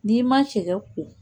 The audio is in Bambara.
N'i ma cɛkɛ ko